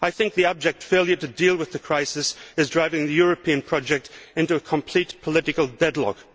The abject failure to deal with the crisis is driving the European project into political deadlock.